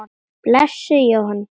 Blessuð hjónin.